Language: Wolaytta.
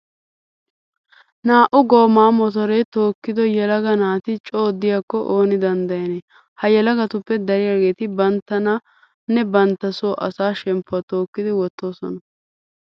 Naa"u gooma motoree tookkido yelaga naati coo diyakko ooni danddayanee! Ha yelagatuppe dariyageeti banttanne bantta soo asaa shemppuwa tookkidi wottoosona.